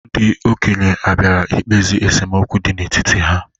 Ndị okenye abiara ikpezi esemokwu dị n'etiti ha?